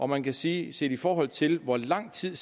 man kan sige set i forhold til hvor lang tid